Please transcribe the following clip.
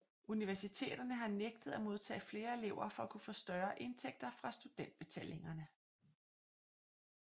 Universiteterne har nægtet at modtage flere elever for at kunne få større indtægter fra studentbetalingerne